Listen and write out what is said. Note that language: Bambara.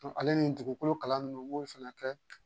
Ale ni dugukolo kalan ninnu u b'o fana kɛ